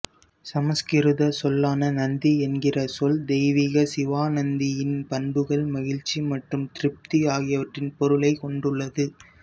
சமஸ்கிருத சொல்லான நந்தி என்கிற சொல் தெய்வீக சிவாநந்தியின் பண்புகள் மகிழ்ச்சி மற்றும் திருப்தி ஆகியவற்றின் பொருளைக் கொண்டுள்ளது